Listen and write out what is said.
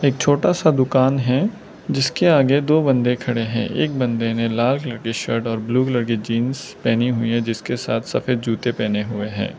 छोटा सा दुकान है जिसके आगे दो बंदे खड़े हैं एक बंदे ने लाल कलर की शर्ट और ब्लू कलर की जींस पहनी हुई है जिसके साथ सफेद जूते पहने हुए हैं।